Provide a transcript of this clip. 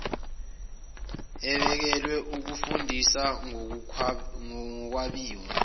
ebekelwe ukufundisa ngokwabiwa